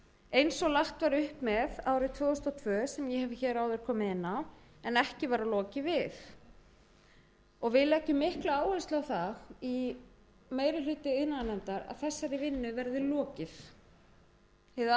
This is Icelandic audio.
eins og lagt var upp með árið tvö þúsund og tvö sem ég hef áður komið inn á en ekki var lokið við og við leggjum mikla áherslu á það í meiri hluta iðnaðarnefndar að þessari vinnu verði lokið hið